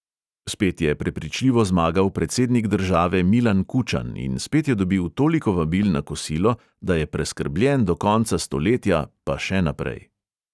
Spet je prepričljivo zmagal predsednik države milan kučan in spet je dobil toliko vabil na kosilo, da je preskrbljen do konca stoletja, pa še naprej.